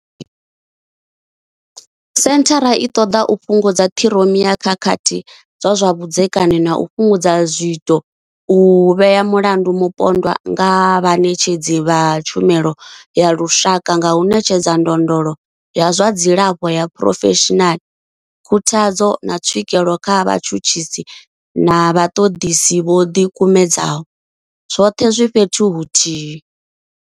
Senthara i ṱoḓa u fhungudza ṱhiroma ya khakhathi dza zwa vhudzekani na u fhungudza zwiito, u vhea mulandu mupondwa nga vhaṋetshedzi vha tshumelo ya lushaka nga u ṋetshedza ndondolo ya zwa dzilafho ya phurofeshinala, khuthadzo, na tswikelo kha vhatshutshisi na vhaṱoḓisi vho ḓikumedzaho, zwoṱhe zwi fhethu huthihi.